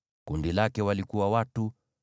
Kundi lake lina watu 32,200.